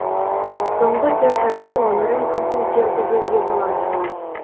соңғы төрт айда өмірім күрт өзгерді деуге болады